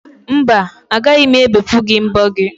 Mba, agaghị m ebepụ gị mbo gị.